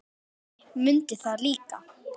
Grjóni mundi það líka.